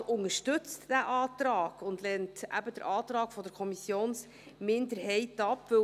Der Regierungsrat unterstützt den Antrag und lehnt den Antrag der Kommissionsminderheit ab.